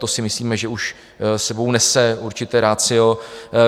To si myslíme, že už sebou nese určité ratio.